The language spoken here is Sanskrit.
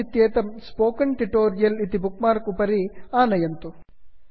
मौस् इत्येतत् स्पोकेन ट्यूटोरियल् स्पोकन् ट्युटोरियल् इति बुक् मार्क् उपरि आनयन्तु